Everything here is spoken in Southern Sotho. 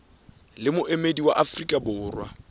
le moemedi wa afrika borwa